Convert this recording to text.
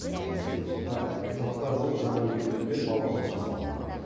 жиырма сегіз жылда қырыққа жуық жаңа мектеп пен балабақша салынды